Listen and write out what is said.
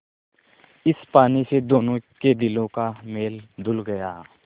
इस पानी से दोनों के दिलों का मैल धुल गया